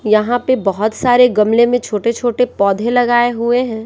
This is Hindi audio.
यहां पे बहुत सारे गमले में छोटे-छोटे पौधे लगाए हुए हैं।